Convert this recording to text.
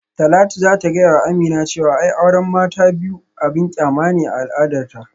Talatu za ta gayawa Aminu cewa ai auran mata ta biyu abin kyama ne a al'adarta